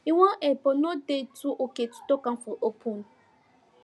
he wan help but no dey too okay to talk am for open